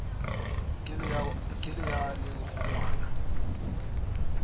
ke la ya le kgonwana